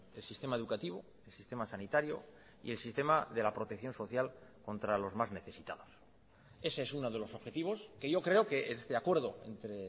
el sistema educativo el sistema sanitario y el sistema de la protección social contra los más necesitados ese es uno de los objetivos que yo creo que este acuerdo entre